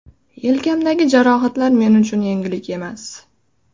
Yelkamdagi jarohatlar men uchun yangilik emas.